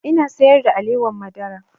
Ina sayar da alewar madara